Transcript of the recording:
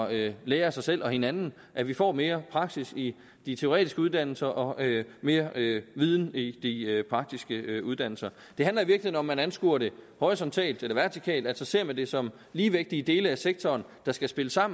at lære af sig selv og hinanden at vi får mere praksis i de teoretiske uddannelser og mere viden i de praktiske uddannelser det handler i om man anskuer det horisontalt eller vertikalt altså ser man det som ligevægtige dele af sektoren der skal spille sammen